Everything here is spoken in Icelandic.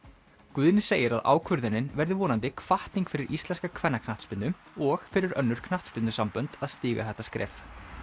Guðni segir að ákvörðunin verði vonandi hvatning fyrir íslenska kvennaknattspyrnu og fyrir önnur knattspyrnusambönd að stíga þetta skref